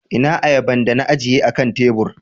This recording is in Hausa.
Ina ayaban da na ajiye akan tebur?